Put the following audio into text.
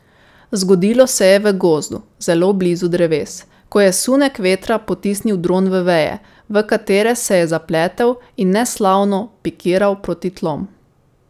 Zgodilo se je v gozdu, zelo blizu dreves, ko je sunek vetra potisnil dron v veje, v katere se je zapletel in neslavno pikiral proti tlom.